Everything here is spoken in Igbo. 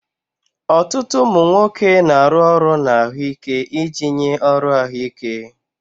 Ọtụtụ ụmụ nwoke na-arụ ọrụ na ahụike iji nye ọrụ ahụike.